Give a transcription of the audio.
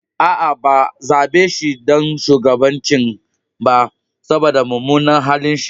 Aa, ba zabe shi ɗan shugabancin ba, saboda mumunan halin shi.